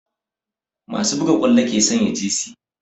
Masu buga ƙwallo ke sanya jesi